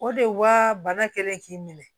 O de wa bana kɛlen k'i minɛ